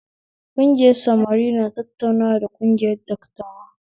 Kungiyar samari na tattaunawa da kungiyar dattawa